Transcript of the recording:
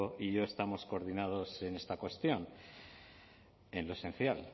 y yo estamos coordinados en esta cuestión en lo esencial